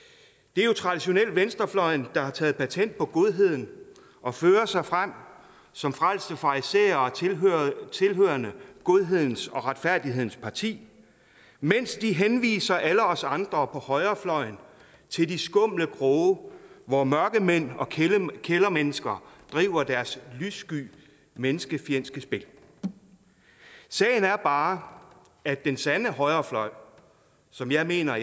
det er jo traditionelt venstrefløjen der har taget patent på godheden og fører sig frem som frelste farisæere tilhørende godhedens og retfærdighedens parti mens de henviser alle os andre på højrefløjen til de skumle kroge hvor mørkemænd og kældermennesker driver deres lyssky menneskefjendske spil sagen er bare at den sande højrefløj som jeg mener